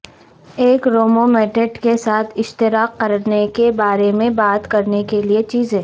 ایک رومومیٹیٹ کے ساتھ اشتراک کرنے کے بارے میں بات کرنے کے لئے چیزیں